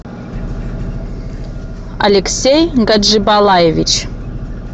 алексей гаджибалаевич